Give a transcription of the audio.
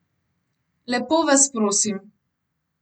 Lepo vas prosim.